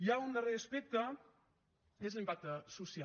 hi ha un darrer aspecte que és l’impacte social